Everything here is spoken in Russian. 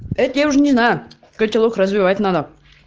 это я уже не знаю котелок развивать надо